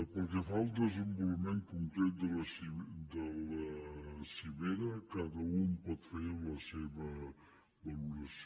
pel que fa al desenvolupament concret de la cimera cada u en pot fer la seva valoració